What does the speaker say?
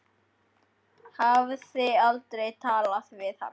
Hafði aldrei talað við hann.